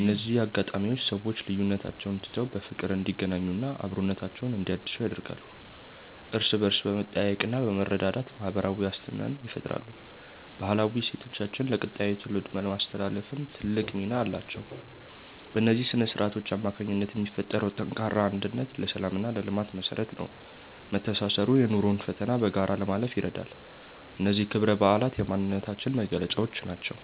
እነዚህ አጋጣሚዎች ሰዎች ልዩነቶቻቸውን ትተው በፍቅር እንዲገናኙና አብሮነታቸውን እንዲያድሱ ያደርጋሉ። እርስ በእርስ በመጠያየቅና በመረዳዳት ማህበራዊ ዋስትናን ይፈጥራሉ። ባህላዊ እሴቶቻችንን ለቀጣዩ ትውልድ ለማስተላለፍም ትልቅ ሚና አላቸው። በእነዚህ ስነ-ስርዓቶች አማካኝነት የሚፈጠረው ጠንካራ አንድነት ለሰላምና ለልማት መሰረት ነው። መተሳሰሩ የኑሮን ፈተና በጋራ ለማለፍ ይረዳል። እነዚህ ክብረ በዓላት የማንነታችን መገለጫዎች ናቸው።